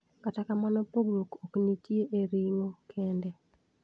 Kata kamano pogruok oknitie e ring`o kende.